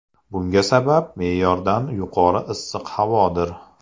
Bunga sabab me’yordan yuqori issiq havodir.